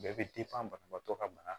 Bɛɛ bɛ banabaatɔ ka bana